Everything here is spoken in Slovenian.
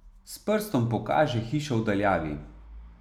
S prstom pokaže hišo v daljavi.